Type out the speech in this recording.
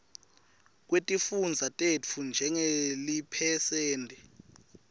kwetifundza tetfu njengeliphesenti